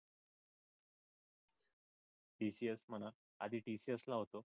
TCS म्हणा, आधी TCS ला होतो